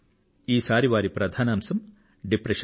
ఈసారి వారి ప్రధానాంశం డిప్రెషన్